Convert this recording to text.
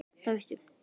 Það veistu.